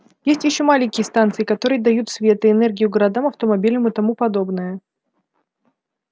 есть ещё маленькие станции которые дают свет и энергию городам автомобилям и тому подобное